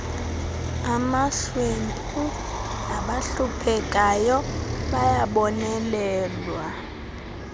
amahlwempu nabahluphekayo bayabonelelwa